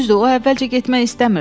Düzdür, o əvvəlcə getmək istəmirdi.